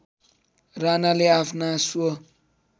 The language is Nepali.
राणाले आफ्ना स्व